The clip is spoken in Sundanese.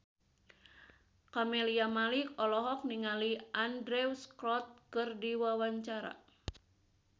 Camelia Malik olohok ningali Andrew Scott keur diwawancara